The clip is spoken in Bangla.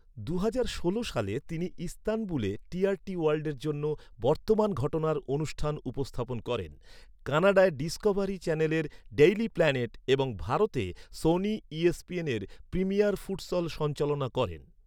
দুহাজার ষোল সালে, তিনি ইস্তানবুলে টিআরটি ওয়ার্ল্ডের জন্য বর্তমান ঘটনার অনুষ্ঠান উপস্থাপন করেন। কানাডায় ডিসকভারি চ্যানেলের ডেইলি প্ল্যানেট এবং ভারতে সোনি ইএসপিএনের প্রিমিয়ার ফুটসল সঞ্চালনা করেন।